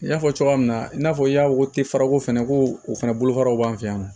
N y'a fɔ cogoya min na i n'a fɔ i y'a fɔ ko ko fɛnɛ ko o fana bolofaraw b'an fɛ yan nɔ